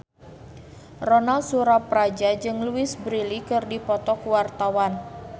Ronal Surapradja jeung Louise Brealey keur dipoto ku wartawan